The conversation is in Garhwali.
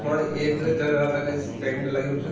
और एक जगराता क स टेंट लग्युं च।